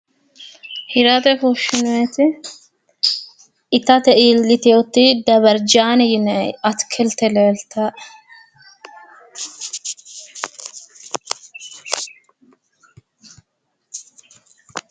hirate fushshinoonite itate iillitinote dabarjaane yinanni atikilte leeltaae